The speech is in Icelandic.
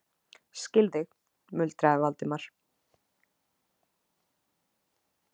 Skil þig- muldraði Valdimar.